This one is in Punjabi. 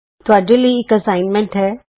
ਹੁਣ ਤੁਹਾਡੇ ਲਈ ਇਕ ਅਸਾਈਨਮੈਂਟ ਹੈ